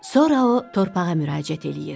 Sonra o torpağa müraciət eləyir: